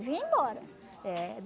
vinha embora. É.